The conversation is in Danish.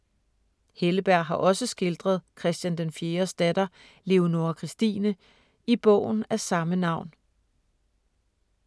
Helleberg har også skildret Christian den 4.’s datter Leonora Christine i bogen af samme navn.